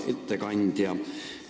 Hea ettekandja!